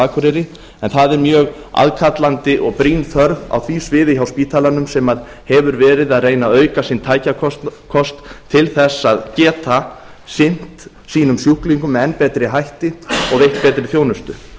en það er mjög aðkallandi og brýn þörf á því sviði hjá spítalanum sem hefur verið að reyna að auka sinn tækjakost til þess að geta sinnt sínum sjúklingum með enn betri hætti og veitt betri